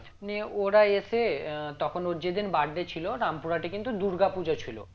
নিয়ে ওরা এসে আহ তখন ওর যেদিন birthday ছিল রামপুর হাটে কিন্তু দুর্গাপূজা ছিল